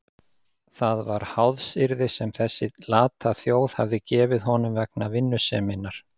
Það var háðsyrði sem þessi lata þjóð hafði gefið honum vegna vinnuseminnar.